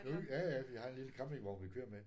Nu ja ja vi har en lille campingvogn vi kører med